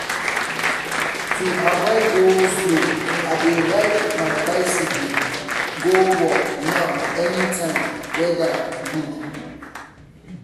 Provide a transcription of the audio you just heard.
to avoid go-slow i dey ride my bicycle go work now anytime weather good